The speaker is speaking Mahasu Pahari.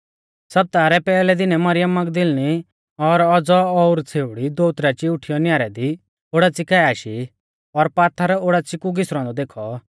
सप्ताह रै पैहलै दिनै मरियम मगदलीनी और औज़ौ ओर छ़ेउड़ी दोउत राची उठीयौ न्यारै दी ओडाच़ी काऐ आशी और पात्थर ओडाच़ी कु घिसरौ औन्दौ देखौ